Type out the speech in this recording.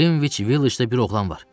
Qrinviç Villicdə bir oğlan var.